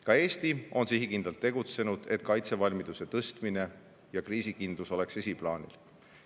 Ka Eesti on sihikindlalt tegutsenud, et kaitsevalmiduse tõstmine ja kriisikindlus oleks esiplaanil.